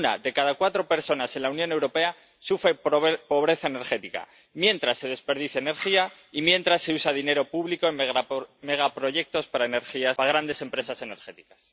Una de cada cuatro personas en la Unión Europea sufre pobreza energética mientras se desperdicia energía y mientras se usa dinero público en megaproyectos para grandes empresas energéticas.